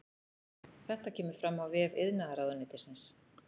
Þetta kemur fram á vef iðnaðarráðuneytisins